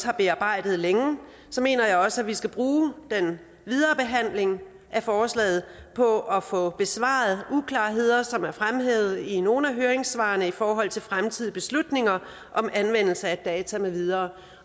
har bearbejdet længe mener jeg også at vi skal bruge den videre behandling af forslaget på at få besvaret uklarheder som er fremhævet i nogle af høringssvarene i forhold til fremtidige beslutninger om anvendelse af data med videre